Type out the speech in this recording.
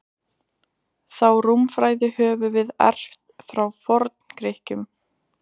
Þá rúmfræði höfum við erft frá Forngrikkjum.